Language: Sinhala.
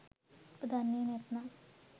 උඹ දන්නේ නැත්නම්